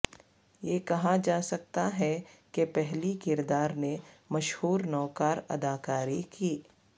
یہ کہا جا سکتا ہے کہ پہلی کردار نے مشہور نوکار اداکاری کی